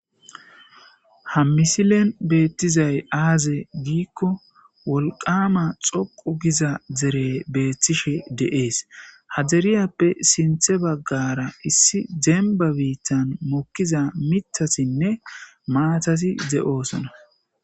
Ha missilen bethizay azze gikko wolqama xoqqu giza dere bethishe de'es. Ha derayppe sintha bagara issi demba bithan mokizza maathazinne mithazi de'ossona.